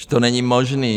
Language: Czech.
Už to není možné.